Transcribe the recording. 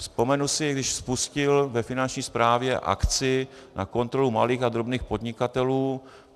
Vzpomenu si, když spustil ve Finanční správě akci na kontrolu malých a drobných podnikatelů.